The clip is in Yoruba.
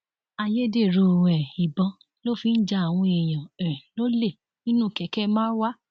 ayédèrú um ìbọn ló fi ń ja àwọn èèyàn um lólè nínú kẹkẹ marwa